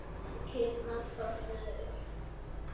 Kýrnar þornuðu upp.